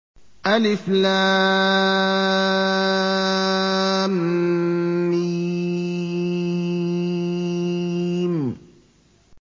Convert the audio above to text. الم